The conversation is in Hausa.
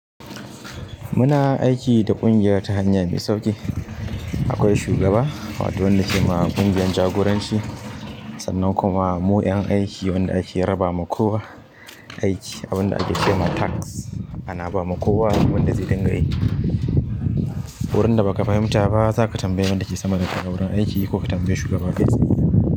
Muna aiki da ƙungiya ta hanya mai sauƙi. Akwai shugaba wato wanda ke ma ƙungiyan jagoranci, sannan kuma mu ƴan aiki wanda ake raba ma kowa aiki abin da ake ce ma task, ana ba ma kowa wanda zai dinga yi. Wurin da baka fahimta ba za ka tambayi wanda yake sama da kai a wurin aiki ko ka tambayi shugaba ka tsaye.